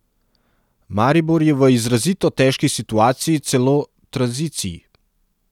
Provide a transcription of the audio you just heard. Maribor je v izrazito težki situaciji celo tranziciji.